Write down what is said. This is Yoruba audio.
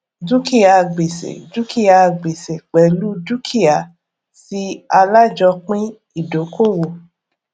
dúkìá gbèsè dúkìá gbèsè pẹlú dúkìá tí alájòopín ìdókòwò